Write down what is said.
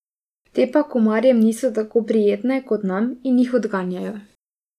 Te pa komarjem niso tako prijetne kot nam in jih odganjajo.